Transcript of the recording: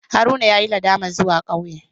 Haruna yayi nadamar zuwa kauye.